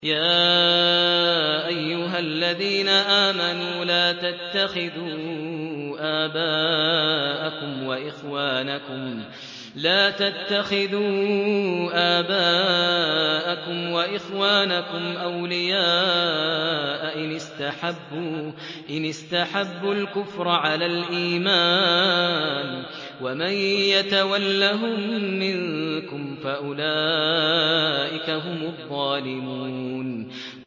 يَا أَيُّهَا الَّذِينَ آمَنُوا لَا تَتَّخِذُوا آبَاءَكُمْ وَإِخْوَانَكُمْ أَوْلِيَاءَ إِنِ اسْتَحَبُّوا الْكُفْرَ عَلَى الْإِيمَانِ ۚ وَمَن يَتَوَلَّهُم مِّنكُمْ فَأُولَٰئِكَ هُمُ الظَّالِمُونَ